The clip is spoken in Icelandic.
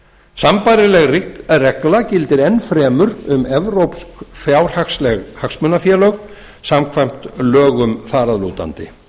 sambærileg regla gildir enn fremur um evrópsk fjárhagsleg hagsmunafélög samkvæmt lögum þar að lútandi